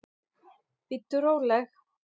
Bíddu róleg!